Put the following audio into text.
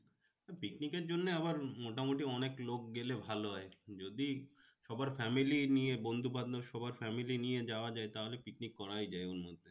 পিকনিকের জন্য আবার মোটামুটি অনেক লোক গেলে ভালো হয়। যদি সবার family নিয়ে বন্ধু বান্ধব সবার family নিয়ে যাওয়া যায় তাহলে পিকনিক করাই যায় ওর মধ্যে।